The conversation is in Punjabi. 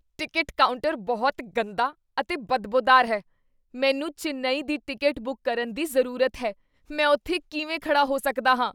ਟਿਕਟ ਕਾਊਂਟਰ ਬਹੁਤ ਗੰਦਾ ਅਤੇ ਬਦਬੋਦਾਰ ਹੈ। ਮੈਨੂੰ ਚੇਨੱਈ ਦੀ ਟਿਕਟ ਬੁੱਕ ਕਰਨ ਦੀ ਜ਼ਰੂਰਤ ਹੈ, ਮੈਂ ਉੱਥੇ ਕਿਵੇਂ ਖੜ੍ਹਾ ਹੋ ਸਕਦਾ ਹਾਂ?